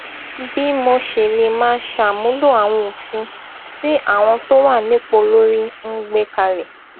bí mo ṣe lè máa ṣàmúlò àwọn òfin tí àwọn tó wà nípò olórí ń gbé kalẹ